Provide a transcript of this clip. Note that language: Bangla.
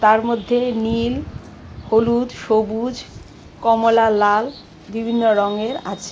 তার মধ্যে নীল হলুদ সবুজ কমলা লাল বিভিন্ন রঙের আছে।